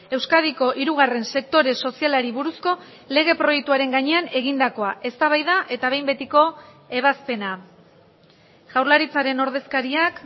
euskadiko hirugarren sektore sozialari buruzko lege proiektuaren gainean egindakoa eztabaida eta behin betiko ebazpena jaurlaritzaren ordezkariak